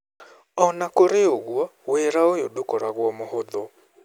O na kũrĩ ũguo, wĩra ũyũ ndũkoragwo mũhũthũ.